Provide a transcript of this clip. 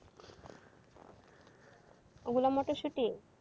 ওগুলো মটরশুঁটি?